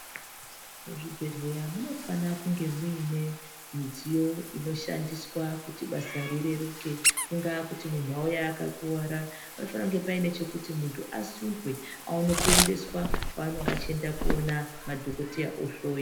Muzvibhedhleya munofana kunge muine midziyo inoshandiswa kuti basa rireruke Kungaa kuti Munhu auya aka kuwara panofanira kuva pane chekuti munhu asundwe aone kuendeswa kwaanenga achienda koona madhokoteya ohloi.